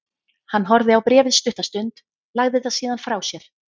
Hann horfði á bréfið stutta stund, lagði það síðan frá sér.